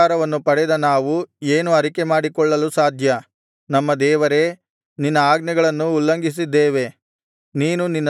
ಇಷ್ಟು ಉಪಕಾರವನ್ನು ಪಡೆದ ನಾವು ಏನು ಅರಿಕೆಮಾಡಿಕೊಳ್ಳಲು ಸಾಧ್ಯ ನಮ್ಮ ದೇವರೇ ನಿನ್ನ ಆಜ್ಞೆಗಳನ್ನು ಉಲ್ಲಂಘಿಸಿದ್ದೇವೆ